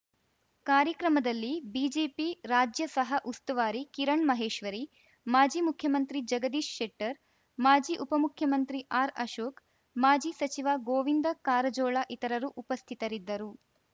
ಕಾರ್ಯಕ್ರಮದಲ್ಲಿ ಬಿಜೆಪಿ ರಾಜ್ಯ ಸಹ ಉಸ್ತುವಾರಿ ಕಿರಣ್‌ ಮಹೇಶ್ವರಿ ಮಾಜಿ ಮುಖ್ಯಮಂತ್ರಿ ಜಗದೀಶ್‌ ಶೆಟ್ಟರ್‌ ಮಾಜಿ ಉಪಮುಖ್ಯಮಂತ್ರಿ ಆರ್‌ಅಶೋಕ್‌ ಮಾಜಿ ಸಚಿವ ಗೋವಿಂದ ಕಾರಜೋಳ ಇತರರು ಉಪಸ್ಥಿತರಿದ್ದರು